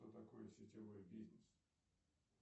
кто такой сетевой бизнес